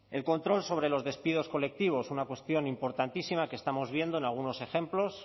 el control sobre los despidos colectivos una cuestión importantísima que estamos viendo en algunos ejemplos